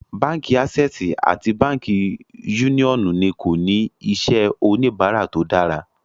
Bánkì Assè̀sì àti Bánkì Uniọnu ní kò ní iṣẹ̀ onibàrà tó dára.